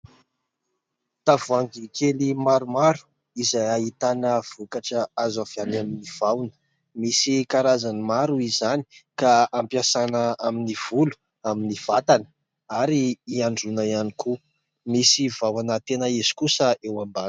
Tavoahangy kely maromaro izay ahitana vokatra azo avy amin'ny vahona, misy karazany maro izany ka ampiasaina amin'ny volo, amin'ny vatana ary handroana ihany koa. Misy vahona tena izy kosa eo ambany.